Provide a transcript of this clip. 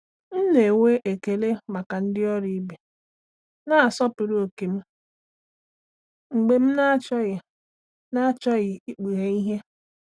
M na-enwe ekele maka ndị ọrụ ibe na-asọpụrụ ókè m mgbe m na-achọghị na-achọghị ikpughe ihe.